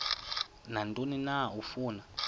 nantoni na afuna